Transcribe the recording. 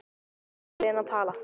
Um hvað er Lena að tala?